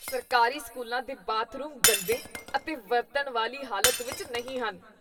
ਸਰਕਾਰੀ ਸਕੂਲਾਂ ਦੇ ਬਾਥਰੂਮ ਗੰਦੇ ਅਤੇ ਵਰਤਣ ਲਈ ਵਾਲੀ ਹਾਲਤ ਵਿੱਚ ਨਹੀਂ ਹਨ।